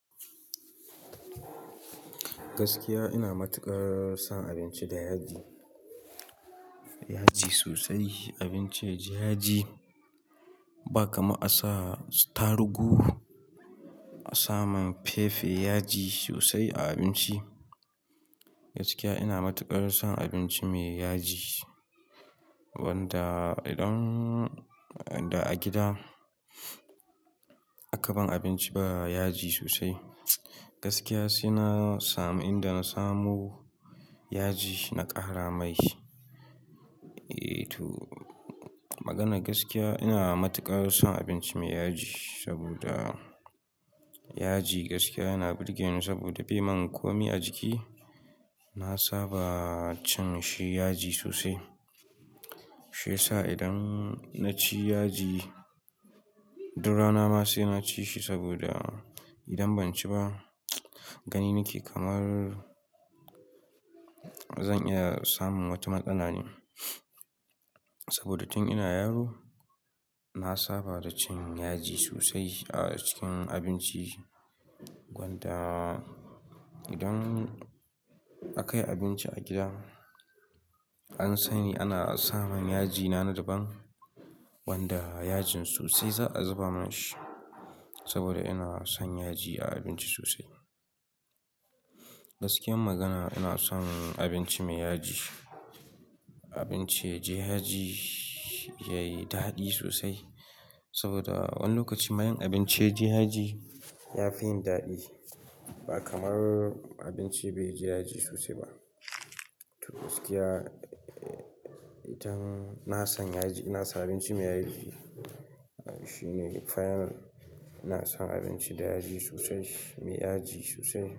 Gaskiya ina matuƙar son abinci da yaji, yaji sosai, abinci ya ji yaji Ba kamar a sa su atarugu, a sa min pepper, yaji sosai a abinci. Gaskiya ina matuƙar son abinci mai yaji, wanda idan da a gida aka ban abinci ba yaji sosai. Gaskiya sai na samu, inda na samu yaji na ƙara mai. Ei to, magana gaskiya ina matuƙar son abinci mai yaji, saboda yaji gaskiya yana burgeni saboda bai yi min komai a jiki. Na saba cin shi yaji sosai, shiyasa idan na ci yaji duk rana ma sai na ci shi saboda idan ban ci ba, gani nake kamar zan iya samun wata matsala ne. Saboda tun ina yaro, na saba da cin yaji sosai a cikin abinci, wanda idan aka yi abinci a gida an sani ana samun yaji na daban wanda yajin sosai za'a zuba mana shi saboda ina son yaji a abinci sosai. Gaskiyar magana ina son abinci mai yaji, abinci ya ji yaji yayi daɗi sosai saboda wani lokaci ma in abinci ya ji yaji ya fi yin daɗi ba kamar abinci bai ji yaji sosai ba. To gaskiya ina son yaji, ina son abinci mai yaji. Shine final ina son abinci da yaji sosai, mai yaji sosai.